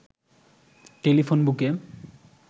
telephone বুকে